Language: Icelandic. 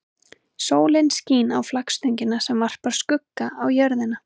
Sólin skín á flaggstöngina sem varpar skugga á jörðina.